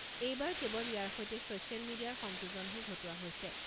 এইবাৰ কেৱল ইয়াৰ সৈতে ছ'চিয়েল মিডিয়াৰ সংযোজনহে ঘটোৱা হৈছে।